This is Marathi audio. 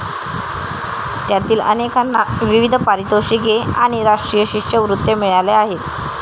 त्यातील अनेकांना विविध पारितोषिके आणि राष्ट्रीय शिष्यवृत्त्या मिळाल्या आहेत.